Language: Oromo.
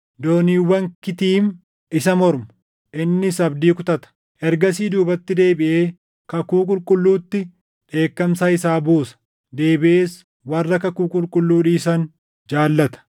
Dooniiwwan Kitiim isa mormu; innis abdii kutata. Ergasii duubatti deebiʼee kakuu qulqulluutti dheekkamsa isaa buusa. Deebiʼees warra kakuu qulqulluu dhiisan jaallata.